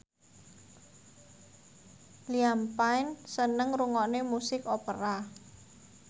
Liam Payne seneng ngrungokne musik opera